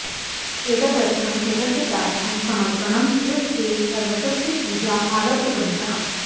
एतदर्थं कृतज्ञतायाः समर्पणम् इव ते पर्वतस्य पूजाम् आरब्धवन्तः